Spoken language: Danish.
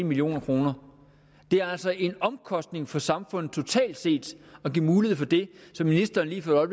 million kroner det er altså en omkostning for samfundet totalt set at give mulighed for det som ministeren lige for